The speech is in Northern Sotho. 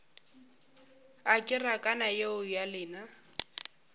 a kerekana yeo ya lena